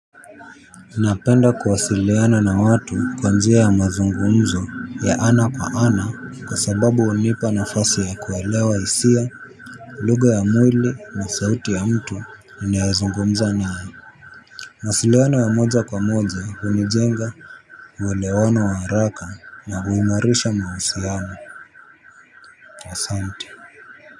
Ninapenda kuwasiliana na watu kwa njia ya mazungumzo ya ana kwa ana kwa sababu unipa nafasi ya kuelewa isia, lugha ya mwili na sauti ya mtu ninayezungumza nae. Mawasiliano ya moja kwa moja hunijenga, uelewano wa haraka na huimarisha mausiano asanti.